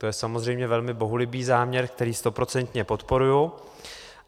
To je samozřejmě velmi bohulibý záměr, který stoprocentně podporuji.